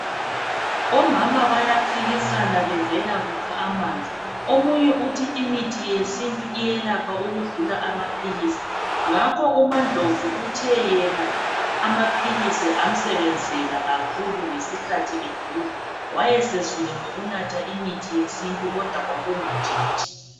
Omama bayaphikisana bevela kukha amanzi omunye uthi imithi yesintu iyelapha ukudlula amaphilisi ngakho uMaNdlovu uthe yena amaphilizi amsebenzela kakhulu ngesikhathi egula wayesezwile ngokunatha imithi yesintu kodwa kwakungantshintshi.